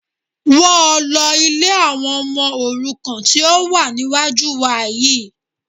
Wọ́ ọ lọ ilé àwọn ọmọ òrukàn tí ó wà níwájú wa yìí